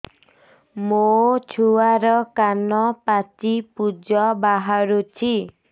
ମୋ ଛୁଆର କାନ ପାଚି ପୁଜ ବାହାରୁଛି